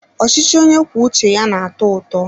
Ọchịchị onye kwuo uche ya na-atọ ụtọ.